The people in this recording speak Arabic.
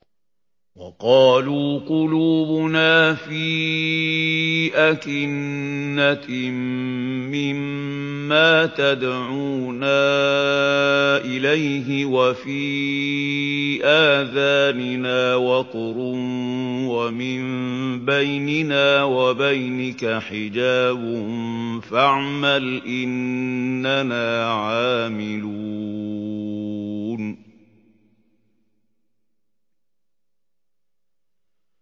وَقَالُوا قُلُوبُنَا فِي أَكِنَّةٍ مِّمَّا تَدْعُونَا إِلَيْهِ وَفِي آذَانِنَا وَقْرٌ وَمِن بَيْنِنَا وَبَيْنِكَ حِجَابٌ فَاعْمَلْ إِنَّنَا عَامِلُونَ